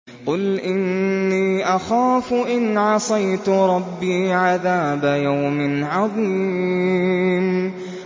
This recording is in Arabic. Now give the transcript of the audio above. قُلْ إِنِّي أَخَافُ إِنْ عَصَيْتُ رَبِّي عَذَابَ يَوْمٍ عَظِيمٍ